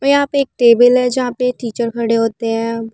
वो यहाँ पर एक टेबल है जहाँ पर टीचर खड़े होते हैं।